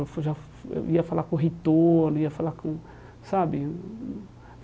Eu já eu ia falar com o reitor ia falar com sabe.